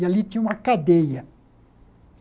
E ali tinha uma cadeia.